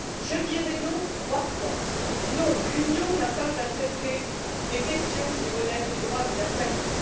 Je dirai non trois fois non, l'Union n'a pas à traiter des questions qui relèvent du droit de la famille